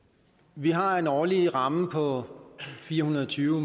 vi har en årlig ramme på fire hundrede og tyve